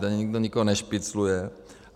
Tady nikdo nikoho nešpicluje.